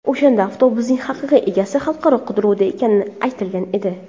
O‘shanda avtobusning haqiqiy egasi xalqaro qidiruvda ekani aytilgan edi.